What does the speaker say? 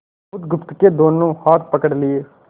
बुधगुप्त के दोनों हाथ पकड़ लिए